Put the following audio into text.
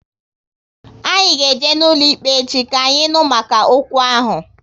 Anyị ga eje n'ụlọikpe echi, ka anyị nụ maka okwu ahụ